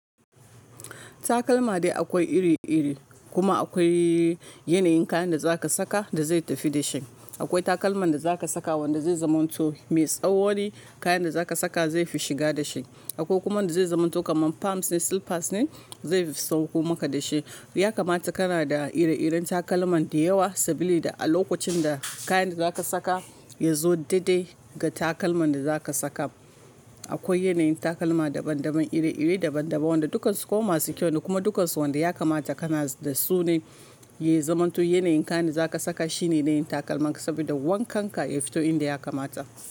Takalma dai akwai iri-iri, kuma akwai yanayin kayan da za ka saka da zai tafi da shi. Akwai takalman da za ka saka wanda zai zamanto me tsawoni, kayan da za ka saka zai fi shiga da shi. Akwai kuma wanda zai zamanto kaman palms ne, slippers ne zai sauko maka da shi. Ya kamata kana da ire-iren takalman da yawa saboda a lokacin da kayan da za ka saka ya zo daidai ga takalman da za ka saka. Akwai yanayin takalma daban-daban, iri-iri daban-daban wanda dukansu kuma masu kyau ne kuma dukansu wanda ya kamata kana da su ne. Yi zamanto yanayin kayan da za ka saka shine yanayin takalmanka saboda wankan ka ya fito inda ya kamata.